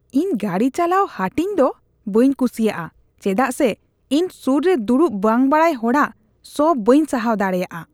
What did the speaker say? ᱤᱧ ᱜᱟᱹᱰᱤ ᱪᱟᱞᱟᱣ ᱦᱟᱹᱴᱤᱧ ᱫᱚ ᱵᱟᱹᱧ ᱠᱩᱥᱤᱭᱟᱜᱼᱟ ᱪᱮᱫᱟᱜ ᱥᱮ ᱤᱧ ᱥᱩᱨ ᱨᱮ ᱫᱩᱲᱩᱵ ᱵᱟᱝ ᱵᱟᱰᱟᱭ ᱦᱚᱲᱟᱜ ᱥᱚ ᱵᱟᱧ ᱥᱟᱦᱟᱣ ᱫᱟᱲᱮᱭᱟᱜᱼᱟ ᱾